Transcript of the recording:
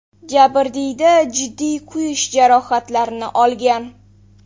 Jabrdiyda jiddiy kuyish jarohatlarini olgan.